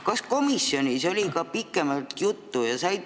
Kas komisjonis oli sellest ka pikemalt juttu?